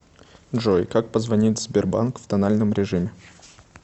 джой как позвонить в сбербанк в тональном режиме